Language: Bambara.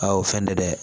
A o fɛn tɛ dɛ